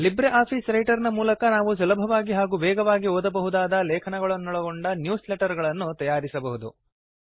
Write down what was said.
Libre Office Writer ನ ಮೂಲಕ ನಾವು ಸುಲಭವಾಗಿ ಹಾಗೂ ವೇಗವಾಗಿ ಓದಬಹುದಾದ ಲೇಖನಗಳನ್ನೊಳಗೊಂಡ ನ್ಯೂಸ್ ಲೆಟರ್ ಗಳನ್ನು ತಯಾರಿಸಬಹುದು